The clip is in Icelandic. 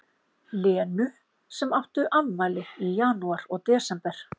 Lenu sem áttu afmæli í janúar og desember.